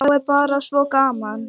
Þá er bara svo gaman.